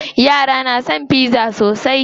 Yara na son pizza sosai.